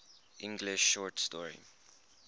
english short story